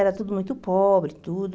Era tudo muito pobre, tudo.